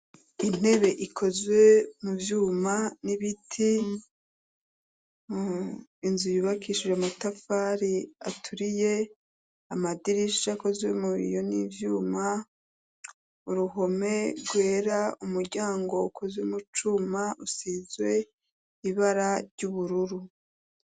Intebe ikozwe mu vyuma n'ibiti inzu yibakishije mutafari aturiye amadirisha akozwe mu iyo n'ivyuma uruhome rwera umuryango wukozwe mu cuma usizwe ibara ry'ubururu.